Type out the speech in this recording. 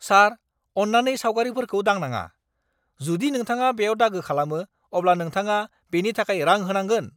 सार, अन्नानै सावगारिफोरखौ दांनाङा। जुदि नोंथाङा बेयाव दागो खालामो, अब्ला नोंथाङा बेनि थाखाय रां होनांगोन।